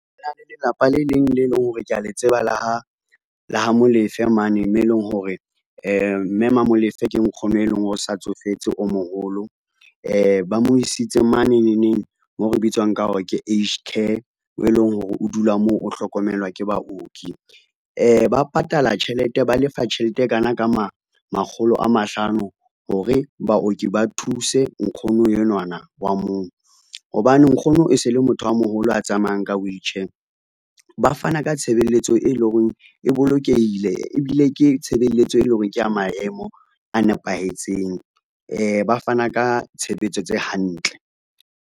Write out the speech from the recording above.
Lelapa le leng le leng hore kea le tseba le ha Molefe mane moo eleng hore mme ma Molefe ke nkgono e leng hore o sa tsofetse o moholo, ba mo isitse mane neneng moo re bitswang ka hore ke age care e leng hore o dula moo o hlokomelwa ke baoki. Ba lefa tjhelete e kana ka makgolo a mahlano hore baoki ba thuse nkgono enwana wa moo, hobane nkgono e se le motho a moholo a tsamayang ka wheelchair, ba fana ka tshebeletso e leng hore e bolokehile ebile ke tshebeletso, e leng hore kea maemo a nepahetseng ba fana ka tshebetso tse hantle.